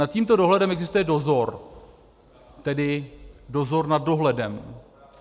Nad tímto dohledem existuje dozor, tedy dozor nad dohledem.